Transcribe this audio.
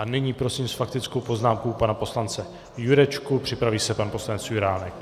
A nyní prosím s faktickou poznámkou pana poslance Jurečku, připraví se pan poslanec Juránek.